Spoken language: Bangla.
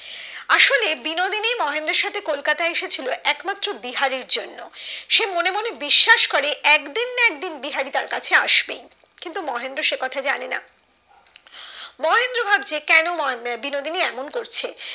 বিনোদিনী মহেন্দ্রর সাথে কলকাতায় আসে ছিল একমাত্র বিহারীর জন্য সে মনে মনে বিশ্বাস করে একদিন না একদিন বিহারি তার কাছে আসবেই কিন্তু মহেন্দ্র সে কথা জানে না মহেন্দ্র ভাবছে কেন বিনোদিনী এমন করছে